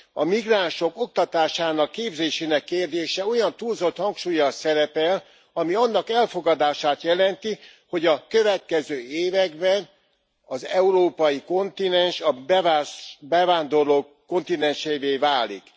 A migránsok oktatásának, képzésének kérdése olyan túlzott hangsúllyal szerepel, ami annak elfogadását jelenti, hogy a következő években az európai kontinens a bevándorlók kontinensévé válik.